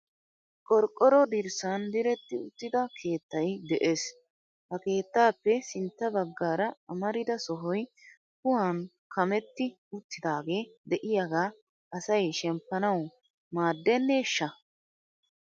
Qorqqoro dirssan diretti uttida keettay de'ees. Ha keettappe sintta baggaara amarida sohoy kuhan kammetti uttidaagee de'iyaaga asay shemppanawu maadeneshsha ?